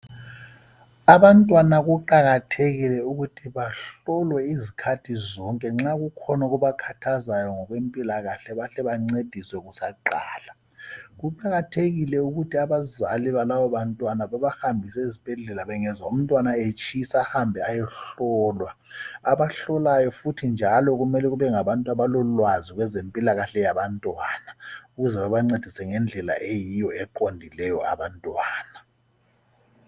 Abantwana kuqakathekile ukuthi bahlolwe izikhathi zonke zonke nxa kukhona okubakhathazayo ngokwempilakahle bahle bancediswe kusaqala. Kuqakathekile ukuthi abazali balabo bantwana babahambise ezibhedlela bengezwa umntwana etshisa ahambe ayohlolwa. Abahlolayo njalo kumele kube ngabantu abalolwazi kwezempilakahle yabantwana ukuze babancedise ngendlela eyiyo eqondileyo abantwana.